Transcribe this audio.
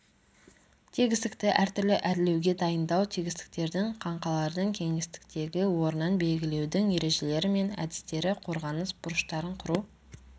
тегістікті әртүрлі әрлеуге дайындау тегістіктердің қаңқалардың кеңістіктегі орнын белгілеудің ережелері мен әдістері қорғаныс бұрыштарын құру